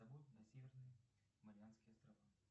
на северные марианские острова